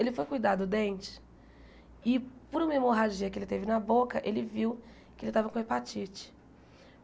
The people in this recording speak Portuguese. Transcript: Ele foi cuidar do dente e por uma hemorragia que ele teve na boca, ele viu que ele estava com hepatite.